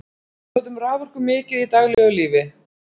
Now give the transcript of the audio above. við notum raforku mikið í daglegu lífi